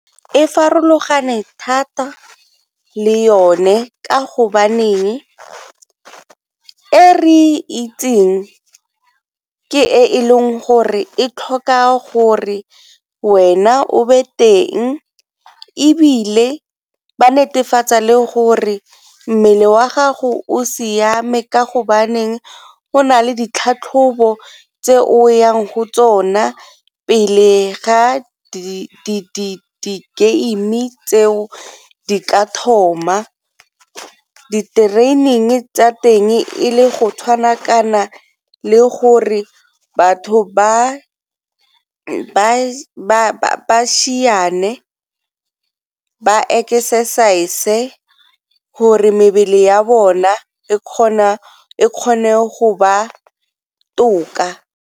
E farologane thata le yone ka go baneng e re itseng ke e e leng gore e tlhoka gore wena teng, ebile ba netefatsa le gore mmele wa gago o siame ka go baneng go nale ditlhatlhobo tse o yang go tsona pele ga di-game-i tseo di ka thoma. Di-training tsa teng e le go tshwana kana le gore batho ba ba exercise-e gore mebele ya bona e kgone go ba toka.